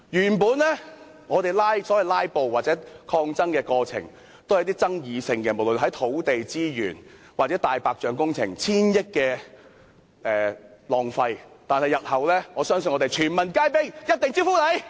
原本我們的所謂"拉布"或抗爭過程，也只是環繞一些具爭議的議題，如土地資源、浪費千億元的"大白象"工程，我相信日後我們會全民皆兵，一定招呼你們。